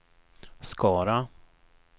Skara